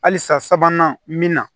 Halisa sabanan min na